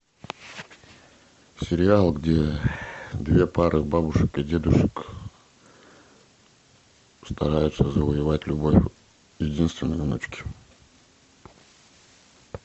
сериал где две пары бабушек и дедушек стараются завоевать любовь единственной внучки